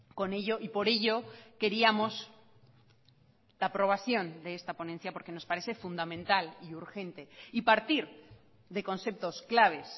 con ello y por ello queríamos la aprobación de esta ponencia porque nos parece fundamental y urgente y partir de conceptos claves